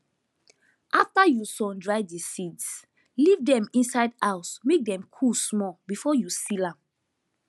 after you sundry the seeds leave dem inside house make dem cool small before you seal am